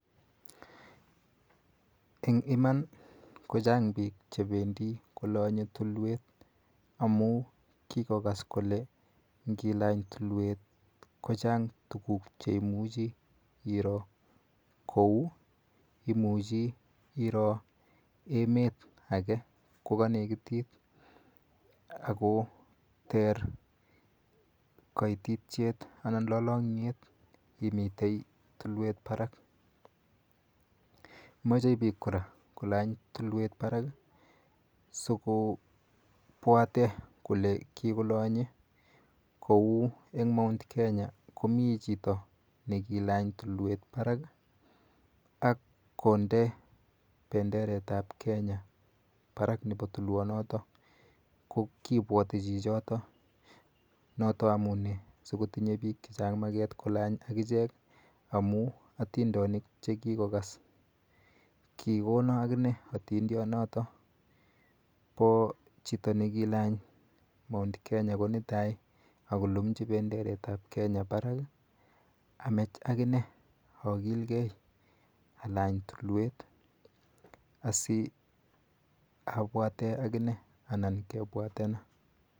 Eng' iman ko chang' piik che pendi kolanye tulwet amu kikokas kole ngilany tulwet ko chang' tuguk che imuchi iro kou, imuchi iro emet age ko kanekitit ako ter kaitityet anan lalang'yet imitei tulwet parak. Machei piik kora kolany tulwet parak si kopwatee kole kikolanye kou eng' Mt. Kenya komi chito ne kilany tulwet parak ak konde penderet ap Kenya parak nepo tulwonotok. Ko kipwati chichitok ko notok amune si kotinye piik maket kolany akichek amj atindonik che kikokas. Kikona akime atondonionitok po chito ne kilany Mt Kenya ko nito any ako lumchi penderet ap Kenya parak i, amach akine akilegei alany tulwet asiapwate akine anan kepwatena.